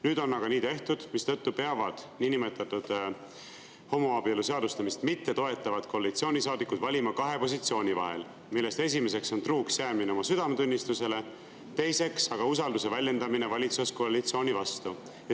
Nüüd on aga nii tehtud, mistõttu peavad niinimetatud homoabielu seadustamist mittetoetavad koalitsioonisaadikud valima kahe positsiooni vahel, millest esimene on truuks jäämine oma südametunnistusele, teine on usalduse väljendamine valitsuskoalitsiooni vastu.